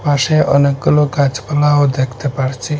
পাশে অনেকগুলো গাছপালাও দেখতে পারছি।